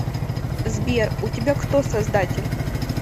сбер у тебя кто создатель